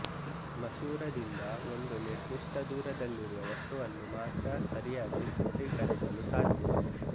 ಮಸೂರದಿಂದ ಒಂದು ನಿರ್ದಿಷ್ಟ ದೂರದಲ್ಲಿರುವ ವಸ್ತುವನ್ನು ಮಾತ್ರ ಸರಿಯಾಗಿ ಚಿತ್ರೀಕರಿಸಲು ಸಾಧ್ಯ